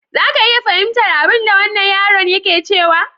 Za ka iya fahimtar abinda wannan yaron yake cewa?